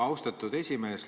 Austatud esimees!